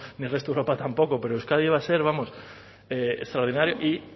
no ni el resto de europa tampoco pero euskadi iba a ser vamos extraordinario